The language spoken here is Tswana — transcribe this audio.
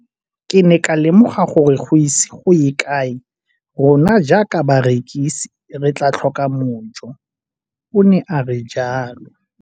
"Ke ne ka lemoga gore go ise go ye kae rona jaaka barekise re tla tlhoka mojo," o ne a re jalo.